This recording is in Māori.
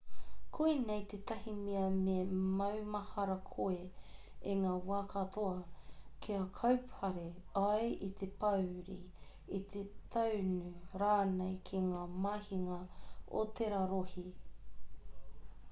koinei tētahi mea me maumahara koe i ngā wā katoa kia kaupare ai i te pōuri i te tāunu rānei ki ngā mahinga o tērā rohe